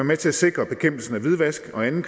med til at sikre at bekæmpelse af hvidvask og anden